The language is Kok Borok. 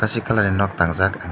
hasik colour ni nog tangjak ang nog.